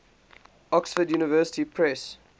oxford university press